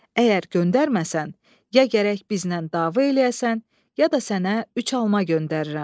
Əgər göndərməsən, ya gərək bizlə dava eləyəsən, ya da sənə üç alma göndərirəm.